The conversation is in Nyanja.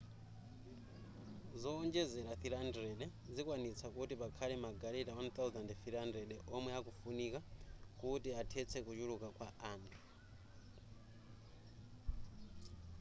zowonjezera 300 zikwanitsa kuti pakhale magaleta 1,300 omwe akufunika kuti athetse kuchuluka kwa anthu